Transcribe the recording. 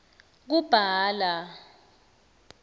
kubhala